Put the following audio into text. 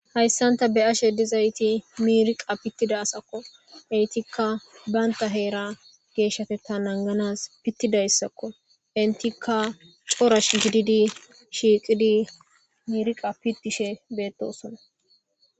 hayssan ta be7ashe dizayti miiriqa pittida asakko. Eetikka banta heera geeshshateththa nanganas pittidayssakko. Entikka cora shiiqidi miiriqa pittishe beettosona.